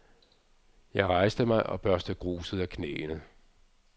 Jeg rejste mig og børstede gruset af knæene.